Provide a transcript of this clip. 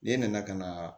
Ne nana ka na